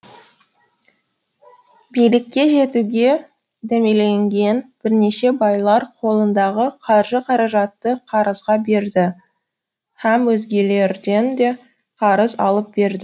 билікке жетуге дәмеленген бірнеше байлар қолындағы қаржы қаражатты қарызға берді һәм өзгелерден де қарыз алып берді